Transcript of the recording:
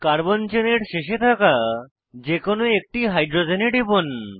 carbon চেনের শেষে থাকা যে কোনো একটি হাইড্রোজেনে টিপুন